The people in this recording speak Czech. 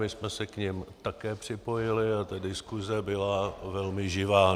My jsme se k nim také připojili a ta diskuze byla velmi živá.